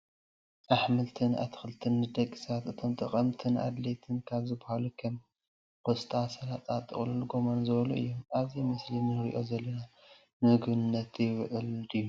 ኣሕምልትን ኣትክልትን ንደቂ ሰባት እቶም ጠቀምትን ኣድላይትን ካብ ዝበሃሉ ከም ቆስጣ፣ ስላጠ፣ ጥቅሉል ጎመን፣ ዝበሉ እዮም። ኣብዚ ምስሊ እንሪኦ ዘለና ንምግብነት ይውዕል ድዩ ?